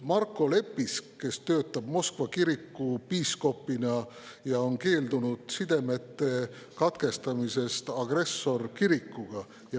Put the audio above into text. Margo Lepisk, kes töötab Moskva kiriku piiskopina, on keeldunud sidemete katkestamisest agressorkirikuga.